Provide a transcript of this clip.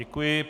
Děkuji.